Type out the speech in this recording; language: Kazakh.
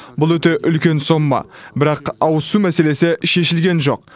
бұл өте үлкен сома бірақ ауызсу мәселесі шешілген жоқ